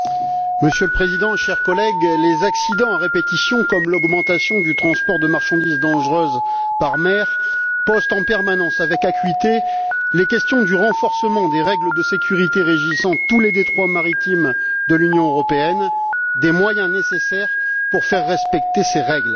Monsieur le Président, chers collègues, les accidents à répétition ainsi que l'augmentation du transport de marchandises dangereuses par mer posent en permanence, avec acuité, les questions du renforcement des règles de sécurité régissant tous les détroits maritimes de l'Union européenne et des moyens nécessaires pour faire respecter ces règles.